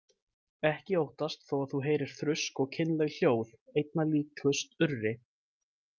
Ekki óttast þó að þú heyrir þrusk og kynleg hljóð, einna líkust urri.